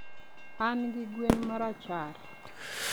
An gi gwen marachar